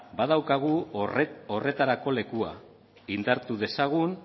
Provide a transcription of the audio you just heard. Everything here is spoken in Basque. badaukagu horretarako lekua indartu dezagun